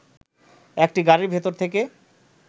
একটি গাড়ির ভেতর থেকে